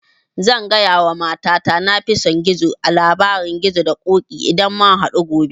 Zan gaya wa mata ta na fi son gizo a labarin gizo da ƙoƙi idan mun hadu gobe